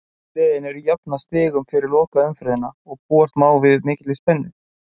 Öll liðin eru jöfn að stigum fyrir lokaumferðina og því má búast við mikilli spennu.